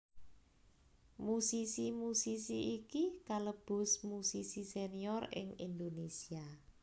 Musisi musisi iki kalebu musisi senior ing Indonesia